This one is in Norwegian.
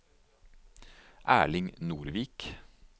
Erling Nordvik